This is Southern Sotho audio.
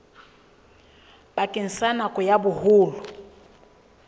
bakeng sa nako ya boholo